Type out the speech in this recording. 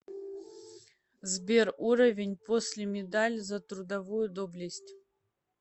сбер уровень после медаль за трудовую доблесть